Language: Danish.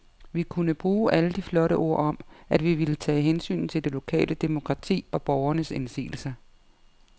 Vi kunne bruge alle de flotte ord om, at vi ville tage hensyn til det lokale demokrati og borgernes indsigelser.